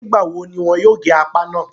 Nígbà wo ni wọn yóò gé apá náà?